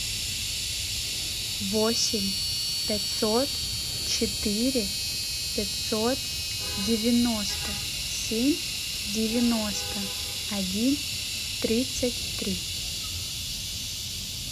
восемь пятьсот четыре пятьсот девяносто семь девяносто один тридцать три